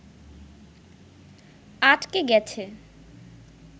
আটকে গেছে